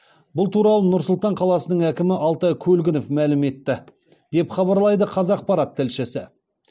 бұл туралы нұр сұлтан қаласының әкімі алтай көлгінов мәлім етті деп хабарлайды қазақпарат тілшісі